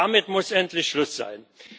Damit muss endlich Schluss sein.